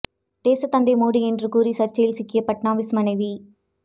தேசத் தந்தை மோடி என்று கூறி சர்ச்சையில் சிக்கிய பட்னாவிஸ் மனைவி